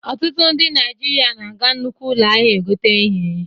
Ọtụtụ ndị Naijiria na-aga nnukwu ụlọ ahịa egote ihe.